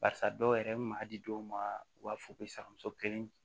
Barisa dɔw yɛrɛ bi maa di dɔw ma u b'a fɔ ko sakamuso kelen